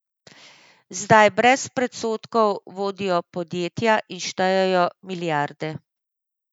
Zdaj brez predsodkov vodijo podjetja in štejejo milijarde.